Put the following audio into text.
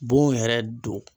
Bon yɛrɛ don